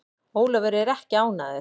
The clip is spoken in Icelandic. Ólafur er ekki ánægður.